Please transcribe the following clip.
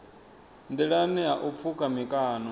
nḓilani ha u pfuka mikano